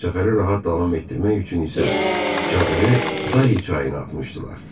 Səfəri rahat davam etdirmək üçün isə çadırı Dahi çayına atmışdılar.